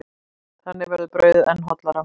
Þannig verður brauðið enn hollara.